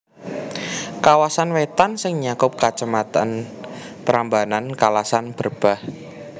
Kawasan Wétan sing nyakup Kacamatan Prambanan Kalasan Berbah